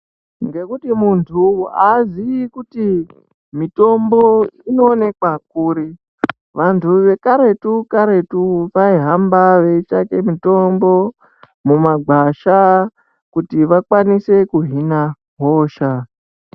Ngekuti muntu haazivi kuti mitombo inoonekwa kuri, vantu vekaretu karetu vaihamba veitsvake mitombo mumagwasha kuti vakwanise kuhina hosha.